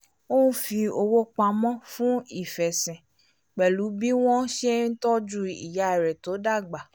ó n fi owó pamọ́ fún ìfẹ̀sìn pẹ̀lú bí wọ́n ṣe ń tọju ìyá rẹ tó dàgbà